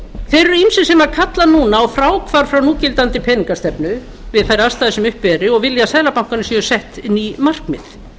þeir eru ýmsir sem kalla núna á fráhvarf frá núverandi peningastefnu við þær aðstæður sem uppi eru og vilja að seðlabankanum séu sett ný markmið